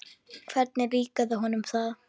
Hvernig líkaði honum það?